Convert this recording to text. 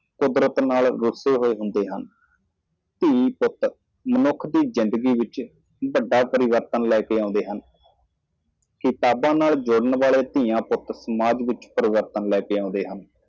ਸੁਭਾਅ ਤੋਂ ਗੁੱਸੇ ਹੁੰਦੇ ਹਨ ਮਨੁੱਖੀ ਜੀਵਨ ਵਿੱਚ ਪੁੱਤਰ ਧੀ ਵੱਡੀ ਤਬਦੀਲੀ ਲਿਆਓ ਪੁਸਤਕਾਂ ਨਾਲ ਜੁੜੇ ਪੁੱਤਰ-ਧੀਆਂ ਸਮਾਜ ਵਿੱਚ ਤਬਦੀਲੀ ਲਿਆਉਂਦੇ ਹਨ।